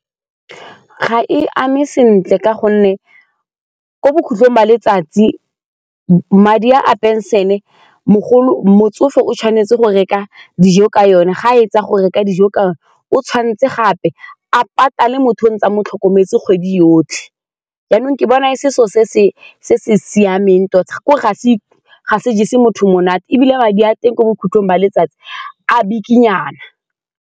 Ga e ame sentle ka gonne ko bokhutlhong ba letsatsi madi a a pension-e motsofe o tshwanetse go reka dijo ka yone ga fetsa go reka dijo, o tshwanetse gape a patale motho a ntse a mo tlhokometse kgwedi yotlhe jaanong ke bona e se selo se se siameng tota ga se se monate ebile madi a teng ko bokhutlhong ba letsatsi a bikinyana.